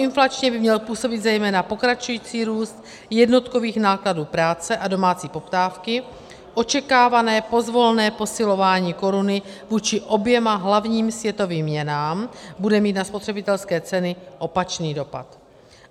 Proinflačně by měl působit zejména pokračující růst jenotkových nákladů práce a domácí poptávky, očekávané pozvolné posilování koruny vůči oběma hlavním světovým měnám bude mít na spotřebitelské ceny opačný dopad.